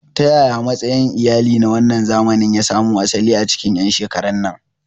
Ta yaya matsayin iyali na wannan zamani ya samo asali a cikin 'yan shekarun nan?